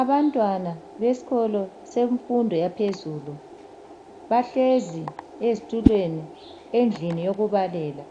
Abantwana besikolo semfundo yaphezulu bahlezi ezitulweni endlini yokubalela,